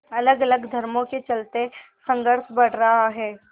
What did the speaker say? अलगअलग धर्मों के चलते संघर्ष बढ़ रहा है